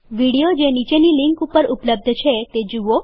video જે નીચેની link ઉપર ઉપલબ્ધ છે તે જુઓ